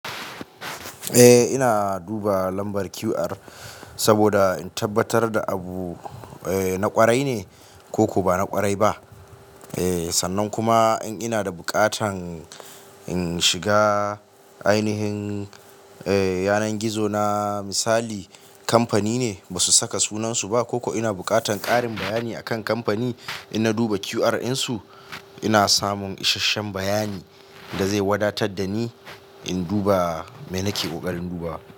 Eh ina duba lambar QR saboda in tabbatar da abu na ƙwarai ne koko ba na ƙwarai ba. Sannan kuma in ina da buƙatan in shiga ainihin yanar gizo na misali kamfani ne basu saka sunansu ba koko ina buƙatan ƙarin bayani akan kamfani, in na duba QR ɗinsu ina samun isasshen bayani da zai wadatar da ni in duba me nake ƙoƙarin dubawa.